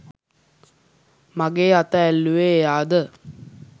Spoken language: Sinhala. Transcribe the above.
මගෙ අත ඇල්ලුවෙ එයාද